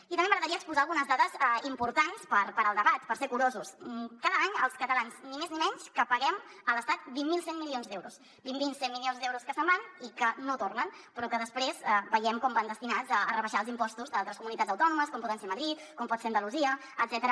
i també m’agradaria exposar algunes dades importants per al debat per ser curosos cada any els catalans ni més ni menys que paguem a l’estat vint mil cent milions d’euros vint mil cent milions d’euros que se’n van i que no tornen però que després veiem com van destinats a rebaixar els impostos d’altres comunitats autònomes com pot ser madrid com pot ser andalusia etcètera